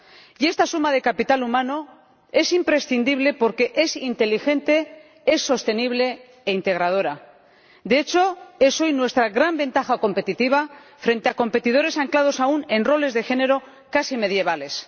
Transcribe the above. Y esta suma de capital humano es imprescindible porque es inteligente, es sostenible e integradora, de hecho es hoy nuestra gran ventaja competitiva frente a competidores anclados aún en roles de género casi medievales.